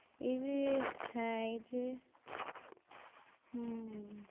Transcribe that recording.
এর হ্যাঁ এই যে হম